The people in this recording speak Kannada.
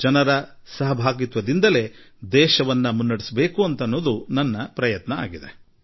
ಜನರ ಪಾಲ್ಗೊಳ್ಳುವಿಕೆಯಿಂದಲೇ ದೇಶ ಮುಂದುವರಿಯಬೇಕು ಎಂಬುದೇ ನನ್ನ ಸದಾಕಾಲದ ಪ್ರಯತ್ನವಾಗಿದೆ